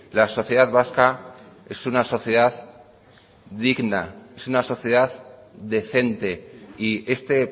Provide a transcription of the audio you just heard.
la sociedad vasca es una sociedad digna es una sociedad decente y este